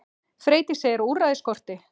Freydís segir að úrræði skorti.